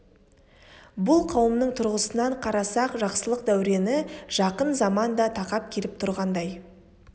бұл қауымның тұрғысынан қарасақ жақсылық дәурені жақын заман да тақап келіп тұрғандай